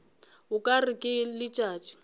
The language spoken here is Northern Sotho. o ka re ke letšatši